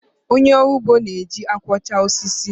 Onye ọrụ ugbo na-eji akwọcha osisi.